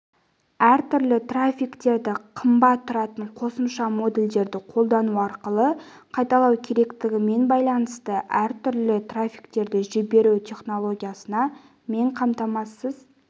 әртүрлі трафиктерді қымбат тұратын қосымша модульдерді қолдану арқылы қайталау керектігімен байланысты әртүрлі трафиктерді жіберу технологиясына мен қамтамасыз